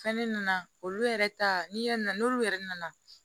Fɛn ne nana olu yɛrɛ ta ni yan n'olu yɛrɛ nana